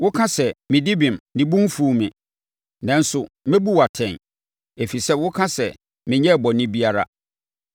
woka sɛ, ‘Medi bem; ne bo mfuu me.’ Nanso mɛbu wo atɛn ɛfiri sɛ wo ka sɛ, ‘Menyɛɛ bɔne biara.’